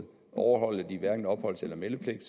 overholder de hverken opholds eller meldepligt